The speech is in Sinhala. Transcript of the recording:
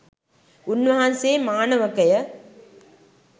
උන්වහන්සේ, මානවකය,